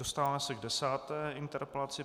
Dostáváme se k desáté interpelaci.